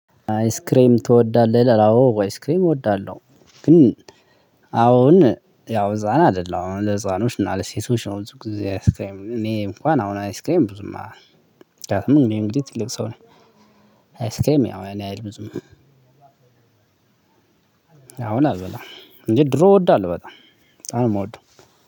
አይስክሬም ትወዳለህ? አዎ አይስክሬም እወዳለሁ። ግን አሁን ያው ህፃን አይደለሁም አሁን ለህፃኖች እና ለሴቶች ነው። ብዙ ጊዜ አይስክሬም እኔ እንኳን አሁን አይስክሬም ብዙማ ምክንያቱም እኔ እንግዲህ ትልቅ ሰው ነኝ። አይስክሬም ያው ያን ያህል ብዙም። አሁን አልበላም እንጂ ድሮ እወዳለሁ በጣም በጣም ነው የምወደው።